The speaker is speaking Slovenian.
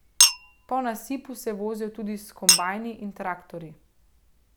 Po nasipu se vozijo tudi s kombajni in traktorji.